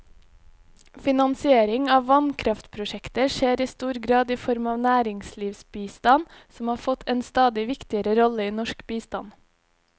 Finansiering av vannkraftprosjekter skjer i stor grad i form av næringslivsbistand, som har fått en stadig viktigere rolle i norsk bistand.